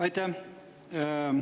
Aitäh!